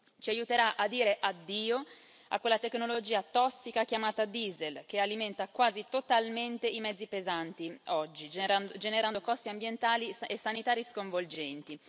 Ci aiuterà a dire addio a quella tecnologia tossica chiamata diesel, che alimenta quasi totalmente i mezzi pesanti oggi, generando costi ambientali e sanitari sconvolgenti.